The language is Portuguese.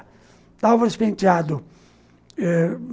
Álvares Penteado.